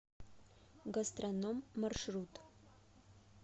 гастрономъ маршрут